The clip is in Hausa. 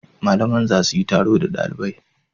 Malaman za su yi taro da dalibai.